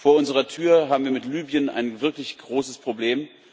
Vor unserer Tür haben wir mit Libyen ein wirklich großes Problem.